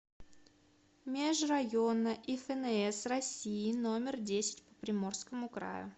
межрайонная ифнс россии номер десять по приморскому краю